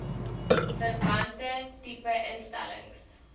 verwante tipe instellings